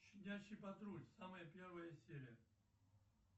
щенячий патруль самая первая серия